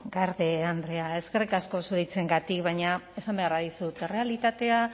garde andrea eskerrik asko zure hitzengatik baina esan behar dizut errealitatea